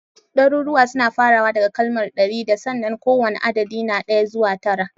Daruruwan suna farawa da kalmar (ɗari da) sannan kowane adadi na ɗaya zuwa tara